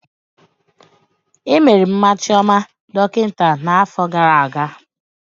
Emere Mma Chioma dọkịta na afọ gara aga